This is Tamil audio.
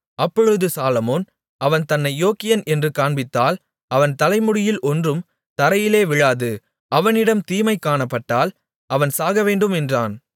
அப்பொழுது சாலொமோன் அவன் தன்னை யோக்கியன் என்று காண்பித்தால் அவன் தலைமுடியில் ஒன்றும் தரையிலே விழாது அவனிடம் தீமை காணப்பட்டால் அவன் சாகவேண்டும் என்றான்